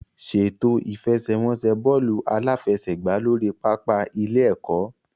Ṣètò ìfẹsẹ̀wọnsẹ̀ bọ́ọ̀lù aláfẹsẹ̀gbá lórí pápá ilé-ẹ̀kọ́.